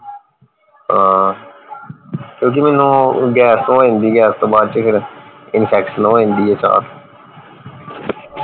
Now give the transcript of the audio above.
ਹਾਂ ਕਿਓਂਕਿ ਮੈਨੂੰ ਗੈਸ ਹੋ ਜਾਂਦੀ ਗੈਸ ਤੋਂ ਬਾਅਦ ਚ ਫੇਰ infection ਹੋ ਜਾਂਦੀ ਏ ਚਾ